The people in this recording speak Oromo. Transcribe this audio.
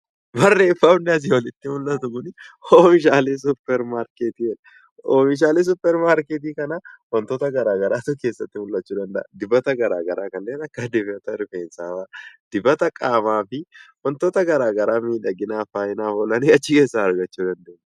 Barreeffamni asii olitti mul'atu kuni oomishaalee suuparmaarketii jedha. Oomishaaleen suuparmaarketii kana wantoota garaa garaatu keessatti mul'achuu danda'a. Dibata garaa garaa kanneen akka dibata rifeensaa fa'a, dibata qaamaa fi wantoota garaa garaa miidhaginaaf oolan achi keessaa argachuu ni dandeenya.